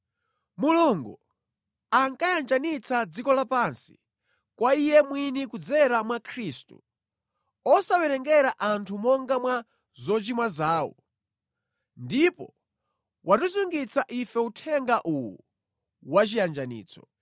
Mulungu ankayanjanitsa dziko lapansi kwa Iye mwini kudzera mwa Khristu, osawerengera anthu monga mwa zochimwa zawo. Ndipo watisungitsa ife uthenga uwu wa chiyanjanitso.